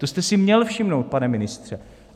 To jste si měl všimnout, pane ministře!